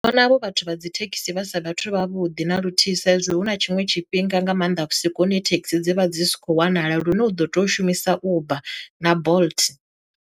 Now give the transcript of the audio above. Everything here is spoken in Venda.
Ndi vhona havho vhathu vha dzi thekhisi vha sa vhathu zwavhuḓi na luthihi sa izwi hu na tshiṅwe tshifhinga nga maanḓa vhusiku hune thekhisi dzi vha dzi si kho wanala lune u ḓo tea u shumisa uber na bolt.